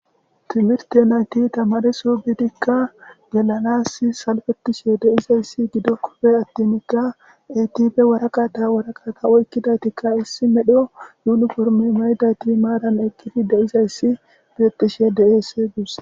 Timirte nayti tamari subitikka gelanas salfetishe deizayssi gido kofe attinikka etife waraqata waraqata oykkidaytikka issi medho yuniforme mayday ti maaran eqqiti deizayssi bietsh deese guuse.